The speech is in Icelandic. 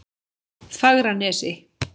Fagranesi